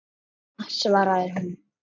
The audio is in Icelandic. Ína, svaraði hún.